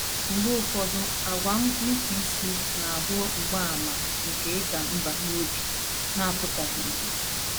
Mgbe ụfọdụ, àgwà nnupụisi na - abụ mgbaàmà nke ịda mbà n’obi na - apụtabeghị ìhè